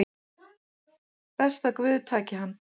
Best að guð taki hann